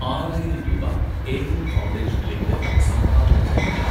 ആറായിരം രൂപ, ഏകം ഫൗണ്ടേഷനിലേക്ക് സംഭാവന ചെയ്യുക